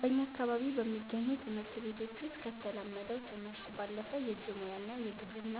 በእኛ አካባቢ በሚገኙ ትምህርት ቤቶች ውስጥ ከተለመደው ትምህርት ባለፈ የእጅ ሙያ እና የግብርና